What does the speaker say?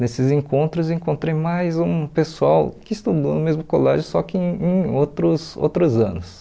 Nesses encontros, encontrei mais um pessoal que estudou no mesmo colégio, só que em outros outros anos.